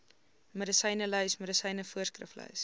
medisynelys medisyne voorskriflys